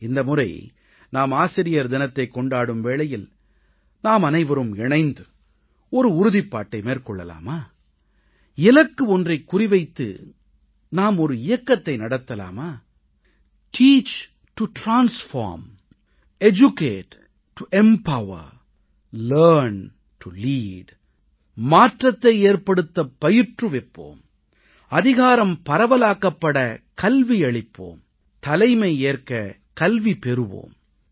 இந்த முறை நாம் ஆசிரியர் தினத்தைக் கொண்டாடும் வேளையில் நாமனைவரும் இணைந்து ஒரு உறுதிப்பாட்டை மேற்கொள்ளலாமா இலக்கு ஒன்றைக் குறிவைத்து நாம் ஒரு இயக்கத்தை நடத்தலாமா teach to transform educate to empower learn to lead மாற்றத்தை ஏற்படுத்த பயிற்றுவிப்போம் அதிகாரம் பரவலாக்கப்பட கல்வி அளிப்போம் தலைமையேற்க கல்வி பெறுவோம்